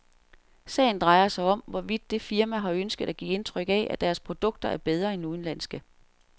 Sagen drejer sig om, hvorvidt det firmaet har ønsket at give indtryk af, at deres produkter er bedre end udenlandske.